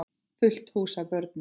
Fullt hús af börnum.